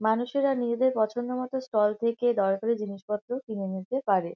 মানুষেরা নিজেদের পছন্দ মতো স্টল থেকে দরকারি জিনিসপত্র কিনে নিতে পারে।